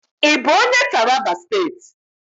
Ị bụ onye Taraba State?